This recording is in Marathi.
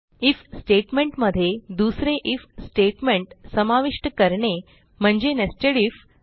आयएफ स्टेटमेंट मध्ये दुसरे आयएफ स्टेटमेंट समाविष्ट करणे म्हणजे nested आयएफ